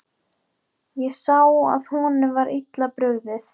Ég sá að honum var illa brugðið.